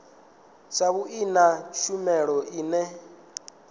na vhui na tshumelo ine